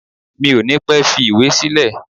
Mi ò ní pẹ́ fi ìwé sílẹ̀